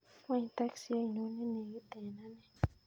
Wany taksi ainon nenegit en ane